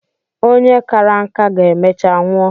Onye kàrà nka ga-emecha nwụọ.